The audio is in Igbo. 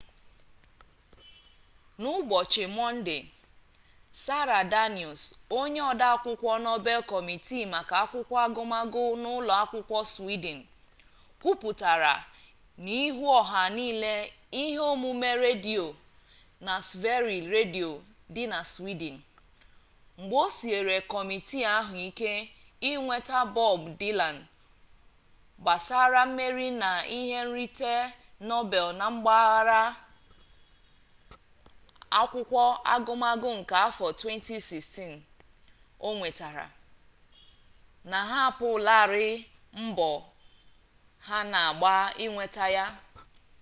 n'ụbọchị mọnde sara danius onye odeakwụkwọ nobel kọmitii maka akwụkwọ agụmagụ n'ụlọ akwụkwọ swidin kwuputara n'ihu ọha na ihe omume redio na sveriges redio dị na swidin mgbe o siere kọmitii ahụ ike inweta bob dilan gbasara mmeri na ihe nrite nobel na mpaghara akwụkwọ agụmagụ nke afọ 2016 o nwetara na ha ahapụlarị mbọ ha na-agba inweta ya